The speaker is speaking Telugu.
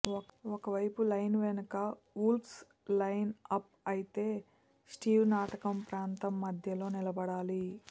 ఒక వైపు లైన్ వెనుక వుల్వ్స్ లైన్ అప్ అయితే స్టీవ్ నాటకం ప్రాంతం మధ్యలో నిలబడాలి